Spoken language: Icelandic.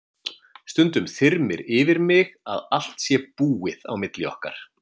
Stundum þyrmir yfir mig að allt sé búið á milli okkar.